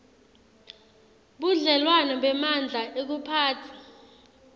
budlelwano bemandla ekuphatsa